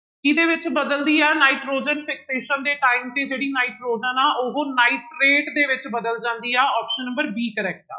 ਕਿਹਦੇ ਵਿੱਚ ਬਦਲਦੀ ਹੈ ਨਾਇਟ੍ਰੋਜਨ fixation ਦੇ time ਤੇ ਜਿਹੜੀ ਨਾਇਟ੍ਰੋਜਨ ਆ ਉਹ ਨਾਇਟ੍ਰੇਟ ਦੇ ਵਿੱਚ ਬਦਲ ਜਾਂਦੀ ਆ option number b correct ਆ।